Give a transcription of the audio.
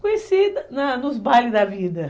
Conheci na nos bailes da vida.